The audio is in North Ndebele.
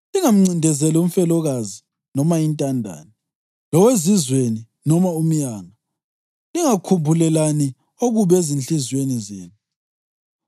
Lingamcindezeli umfelokazi noma intandane, lowezizweni noma umyanga. Lingakhumbulelani okubi ezinhliziyweni zenu.’